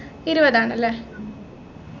ഇരുപതാണല്ലേ